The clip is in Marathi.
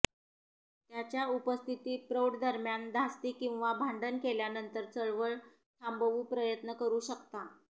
त्याच्या उपस्थिती प्रौढ दरम्यान धास्ती किंवा भांडण केल्यानंतर चळवळ थांबवू प्रयत्न करू शकता